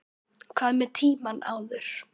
Hvað með tímann áður?